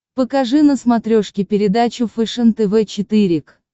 покажи на смотрешке передачу фэшен тв четыре к